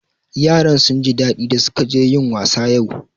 Yaran sun ji daɗi da su ka je yin wasa yau